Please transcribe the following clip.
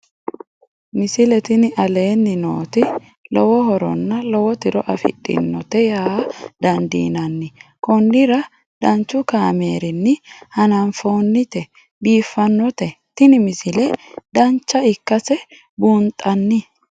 misile tini aleenni nooti lowo horonna lowo tiro afidhinote yaa dandiinanni konnira danchu kaameerinni haa'noonnite biiffannote tini misile dancha ikkase buunxanni